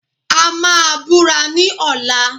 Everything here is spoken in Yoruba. A máa búra ní ọ̀la